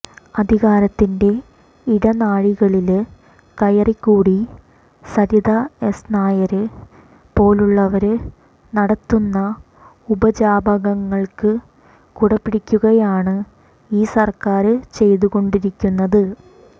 അധികാരത്തിന്റെ ഇടനാഴികളില് കയറിക്കൂടി സരിത എസ് നായരെ പോലുള്ളവര് നടത്തുന്ന ഉപജാപങ്ങള്ക്ക് കുട പിടിക്കുകയാണ് ഈ സര്ക്കാര് ചെയ്തുകൊണ്ടിരിക്കുന്നത്